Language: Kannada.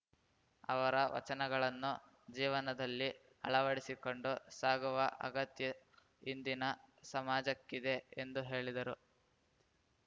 ಅವರ ವಚನಗಳನ್ನು ಜೀವನದಲ್ಲಿ ಅಳವಡಿಸಿಕೊಂಡು ಸಾಗುವ ಅಗತ್ಯ ಇಂದಿನ ಸಾಮಾಜಕ್ಕಿದೆ ಎಂದು ಹೇಳಿದರು